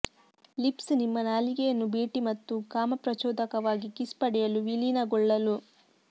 lips ನಿಮ್ಮ ನಾಲಿಗೆಯನ್ನು ಭೇಟಿ ಮತ್ತು ಕಾಮಪ್ರಚೋದಕವಾಗಿ ಕಿಸ್ ಪಡೆಯಲು ವಿಲೀನಗೊಳ್ಳಲು